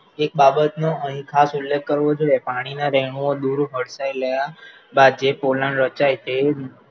એક બાબતનું અહીં ખાસ ઉલ્લેખ કરવો જોઈએ, પાણીના વહેણો દુર હડસાયેલા બાદ જે પોલાણ રચાય તે